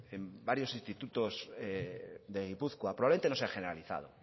en varios institutos de gipuzkoa probablemente no se ha generalizado